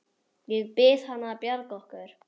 Ég bið hana að bjarga okkur!